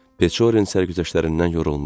Peçorinin sərgüzəştlərindən yorulmuşdu.